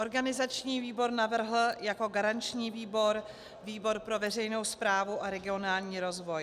Organizační výbor navrhl jako garanční výbor výbor pro veřejnou správu a regionální rozvoj.